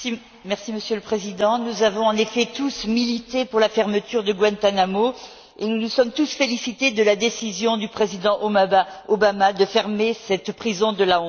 Monsieur le Président, nous avons en effet tous milité pour la fermeture de Guantánamo et nous nous sommes tous félicités de la décision du président Obama de fermer cette prison de la honte.